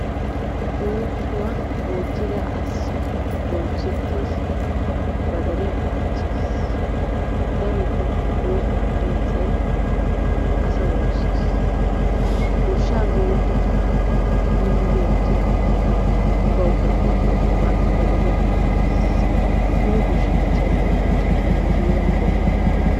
Oosuwa oottida asi bonchchetees, ba deriyakka dichchees. Darotto oosuwaa kariya asay asa woossees. Goshsha goyyidi minidi oottidaage bawukka duretees, ba deriyakka laammees. Mino goshshanchchay intte heeran de'ii?